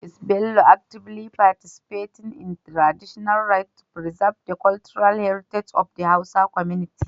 Is Bello actively participating in traditional rites to preserve the cultural heritage of the Hausa community?